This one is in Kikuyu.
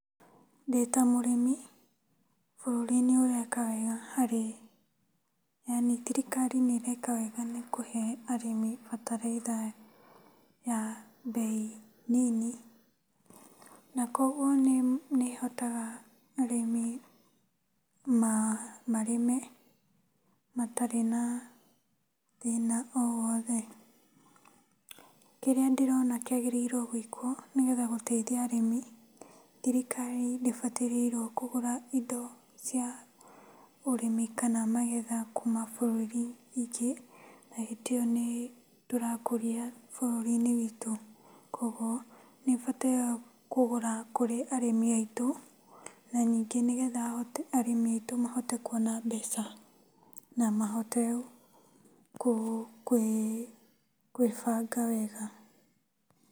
Ndita mũrĩmi bũrũri nĩ ũreka wega harĩ, yaani thirikari nĩ ĩreka wega nĩ kũhe arĩmi bataraitha ya mbei nini, na kũoguo nĩ nĩ ĩhotaga arĩmi marĩme matarĩ na thĩna o wothe. Kĩrĩa ndĩrona kĩagĩrĩirwo gwĩkwo nĩgetha gũteithia arĩmi, thirikari ndĩbatarĩirwo kũgũra indo cia ũrĩmi kana magetha kuma bũrũri ingĩ na hĩndĩ ĩo nĩ tũrakũria bũrũri-inĩ wĩtũ. Kũoguo nĩ ĩbataraga kũgũra kũrĩ arĩmi aitũ na ningĩ nĩ getha ahote arĩmi aitũ mahote kuona mbeca na mahote kwĩbanga wega.